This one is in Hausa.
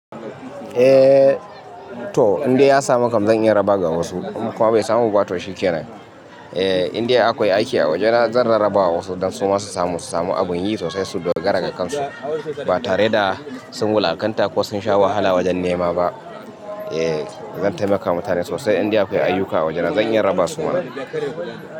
Eh to indai ya samu kam, zan in raba ga wasu, in kuma bai samu ba to shi kenan. Eh indai akwai aiki a waje na zan rarraba wa wasu don su ma su samu su samu abun yi sosai su dogara ga kansu ba tare da sun wulakanta ko sun sha wahala wajen nema ba. Eh zan taimaka ma mutane sosai indai akwai ayyuka a waje na zan iya raba su ma.